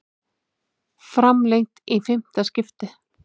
Framlengt í fimmta skiptið